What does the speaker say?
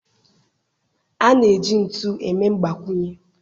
A na-eji ntu eme mgbakwunye